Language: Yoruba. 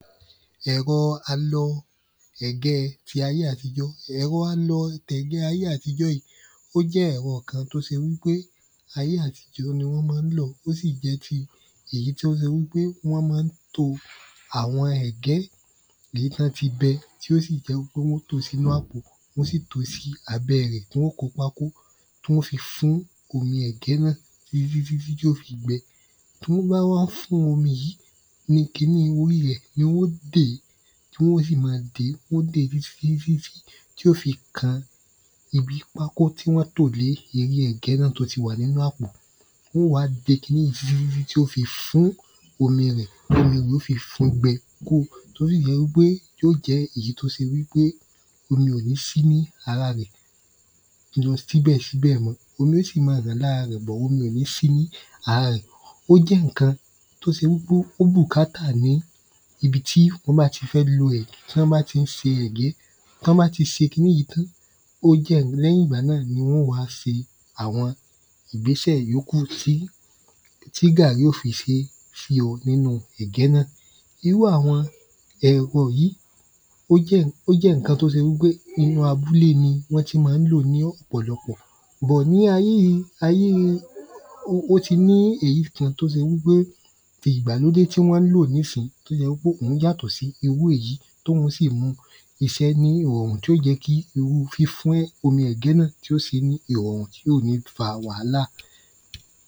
Ẹ̀rọ alọ ẹ̀ge ti ayé àtijọ́ Ẹ̀rọ alọ ẹ̀ge ti ayé àtijọ́ yìí ó jẹ́ ẹ̀rọ kan t’ó se wí pé ayé àtijọ́ ni wọ́n má ń lọ̀ ó sì jẹ́ ti èyí t’ó se wí pé wọ́n má ń to àwọn ẹ̀gẹ́ èyí t’ọ́n ti bẹ̀ tí ó sì jẹ́ wí pé wọ́n ó tò sínu àpò wọ́n ó sì tò sí abẹ́ rẹ̀ tí wọ́n ó kó pákó tí wọ́n ó fi fún omi ẹ̀gẹ́ náà tí tí tí tí ó fi gbẹ. Tí wọ́n bá wá fun yìí, ni ki ní orí rẹ̀ ni wọ́n ó dèé. Tí wọ́n ó sì ma dèé wọ́n ó dèé tí tí tí tí tí tí ó fi kan ibi pákó tí wọ́n tò le erí ẹ̀gẹ́ náà tí ó ti wà nínú àpò. Wọ́n ó wá de ki ní yí sí tí ó fi fún omi rẹ̀ tí omi rè ó fi fún gbẹ kúrò t’ó sì jẹ́ wí pé omi ò ní sí ní ara rẹ̀ omi ó sì ma hàn ní bọ̀ omi ò ní sí ní ara rẹ̀ Ó jẹ́ ǹkan t’́o se wí pé ó bùkátà ní ibi tí ọ́ bá ti fẹ́ lo ẹ̀gẹ́. T’ọ́n bá tí ń se ẹ̀gẹ́. T’ọ́n bá ti se ki ní yí tán, ó jẹ́ l’ẹ́yìn ‘gba náà ni wọ́n ó wá se àwọn ìgbésẹ̀ ìyókù tí tí gàrí ó fi se fíó nínú ẹ̀gẹ́ nà Irú àwọn ẹ̀rọ yí ó jẹ́ ǹkan t’ó se wí pé inú abúlé ni wọ́n ti má ń lò ní ọ̀pọ̀lọpọ̀ bọ̀ ní ayé yí ayée ó ti ní èyí kan t’ó se wí pé ti ìgbàlódé tí wọ́n klò nísín t’ó yẹ wí pé òhun yàtọ̀ sí irú èyí t’óhun sì mú isé ní ìrọ̀rùn t’ó jẹ́ kí irú fífún omi ẹ̀gẹ́ náà tí ó se ní ìrọ̀ùn tí ò ní fa wàhálà